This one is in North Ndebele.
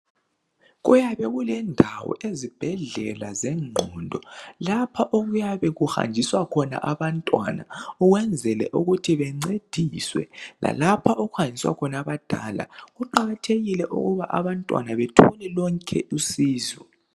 Kuyabe kulendawo ezibhedlela zengqondo lapha okuyabe kuhanjiswa khona abantwana kwenzele ukuthi bencediswe lalapha okuhanjiswa khona abadala kuqakathekile ukuba abantwana bethole lonke usizo